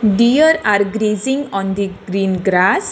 Dear are gracing on the green grass.